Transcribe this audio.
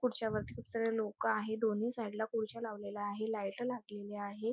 खुडच्यावर लोक आहेत दोन्ही साइडला खुडच्या लावलेल्या आहे लाइट लागलेली आहे.